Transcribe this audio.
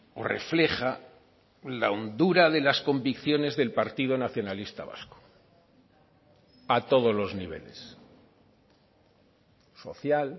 o refleja la hondura de las convicciones del partido nacionalista vasco a todos los niveles social